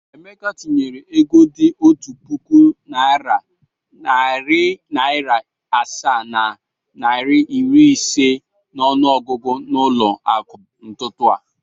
Emeka tinyere ego dị otu puku naịra, narị naịra asaa na naịra iri ise n’ọnụọgụgụ n’ụlọ akụ n’ụtụtụ a.